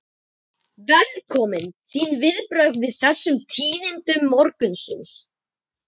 Velkominn, þín viðbrögð við þessum tíðindum morgunsins?